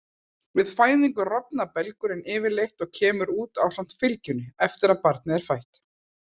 Við fæðingu rofnar belgurinn yfirleitt og kemur út ásamt fylgjunni eftir að barnið er fætt.